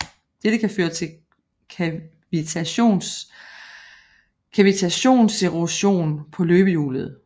Dette kan føre til kavitationserosion på løbehjulet